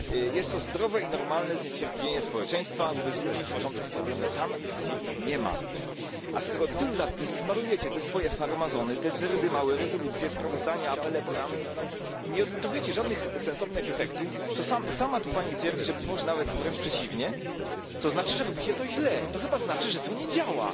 Jest to zdrowe i normalne zniecierpliwienie społeczeństwa wobec ludzi tworzących problemy tam, gdzie ich nie ma. A skoro od tylu lat smarujecie te swoje farmazony, te dyrdymały, rezolucje, sprawozdania, apele, programy i nie odnotowujecie żadnych sensownych efektów sama tu Pani twierdzi, że być może nawet wręcz przeciwnie to znaczy, że robicie to źle, to chyba znaczy, że to nie działa.